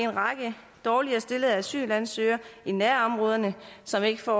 række dårligere stillede asylansøgere i nærområderne som ikke får